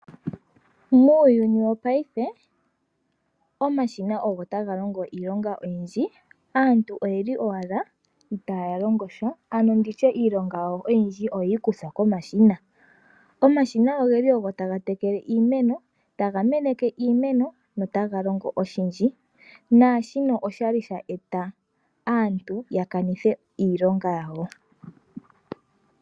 Muuyuni wopaife omashina ogo taga longo iilonga oyindji. Aantu oyeli owala iitaya longosha ano nditye iilonga yawo oyindji oyeyi kuthwa komashina. Omashina ogeli tagalongo oshindji naashino oshali sha eta aantu yakanithe iilonga yawo.